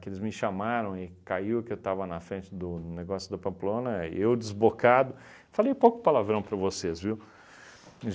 que eles me chamaram e caiu que eu estava na frente do negócio da Pamplona, eu desbocado, falei um pouco de palavrão para vocês, viu?